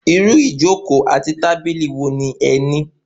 Irú ijoko àti tábìlì wo ni ẹ ní?